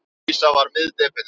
Lísa var miðdepillinn.